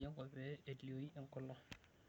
Etoyio enkop pee elioi enkolong'.